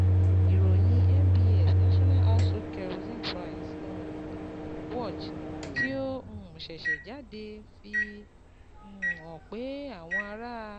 Ìròyìn NBS National Household Kerosene Price um Watch, tí ó um ṣẹ̀ṣẹ̀ jáde, fi um hàn pé àwọn ará